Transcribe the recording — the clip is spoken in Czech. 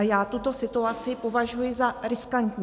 A já tuto situaci považuji za riskantní.